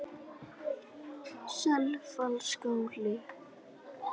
Selfjallaskála